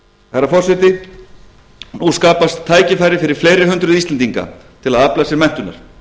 herra forseti nú skapast tækifæri fyrir fleiri hundruð íslendinga til að afla sér menntunar